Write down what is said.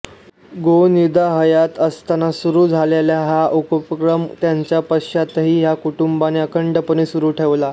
गोनीदा हयात असताना सुरू झालेला हा उपक्रम त्यांच्या पश्चातही या कुटुंबाने अखंडपणे सुरू ठेवला